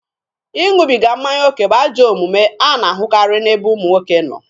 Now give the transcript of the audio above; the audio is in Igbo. Ịṅụbiga mmanya oke bụ ajọ omume a na-ahụkarị n'ebe ụmụ nwoke nọ.